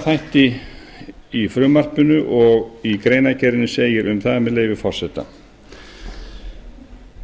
þætti í frumvarpinu og í greinargerðinni segir um það með leyfi forseta